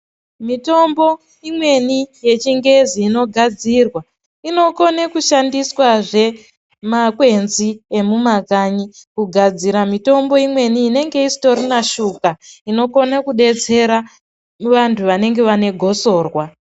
Mitombo imweni yechingezi inogadzirwa inokone kushandiswazve nemakwenzi emumakanyi kugadzira mitombo imweni inotongaistorina shuga inokone kudetsera vantu vanenge vane gosorwa.